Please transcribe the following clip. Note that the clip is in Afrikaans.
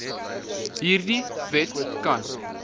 hierdie wet kan